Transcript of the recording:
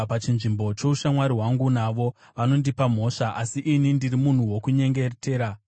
Pachinzvimbo choushamwari hwangu navo, vanondipa mhosva, asi ini ndiri munhu wokunyengetera.